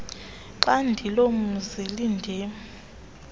xhadi lomzi lindim